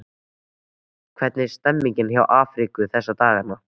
Hvernig er stemningin hjá Afríku þessa dagana?